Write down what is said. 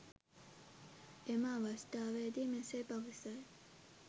එම අවස්ථාවේදී මෙසේ පවසයි